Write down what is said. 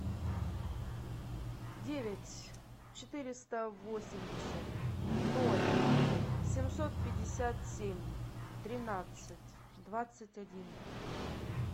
девять четыреста восемьдесят ноль семьсот пятьдесят семь тринадцать двадцать один